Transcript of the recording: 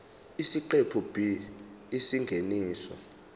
isiqephu b isingeniso